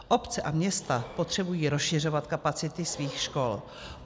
Obce a města potřebují rozšiřovat kapacity svých škol.